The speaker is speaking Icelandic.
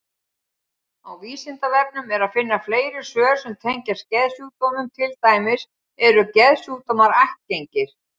Á Vísindavefnum er að finna fleiri svör sem tengjast geðsjúkdómum, til dæmis: Eru geðsjúkdómar ættgengir?